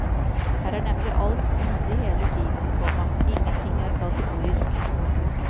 Her er nemlig alt mulig hele tiden, komma ingenting er kategorisk. punktum